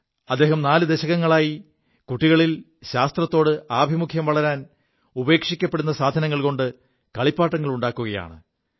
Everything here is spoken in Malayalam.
അദ്ദേഹം നാലു ദശകങ്ങളായി കുികളിൽ ശാസ്ത്രാഭിമുഖ്യം വളരാൻ ഉപേക്ഷിക്കപ്പെടു സാധനങ്ങൾ കൊണ്ട് കളിപ്പാങ്ങളുണ്ടാക്കുകയാണ്